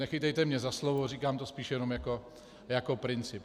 Nechytejte mě za slovo, říkám to spíš jenom jako princip.